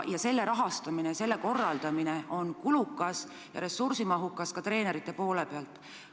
Selle rahastamine ja korraldamine on kulukas ja ressursimahukas, seda ka treenerite poole pealt.